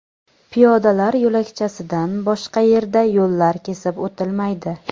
Piyodalar yo‘lakchasidan boshqa yerda yo‘llar kesib o‘tilmaydi.